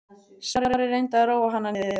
Smári reyndi að róa hana niður.